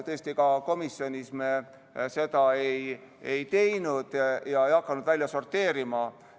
Tõesti, ka komisjonis me seda ei teinud ega hakanud kedagi välja sorteerima.